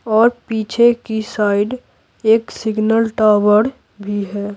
और पीछे की साइड एक सिग्नल टॉवर भी है।